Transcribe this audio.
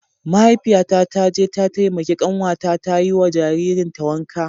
Mahaifiyata ta je ta taimaki kanwata ta yi wa jaririn ta wanka.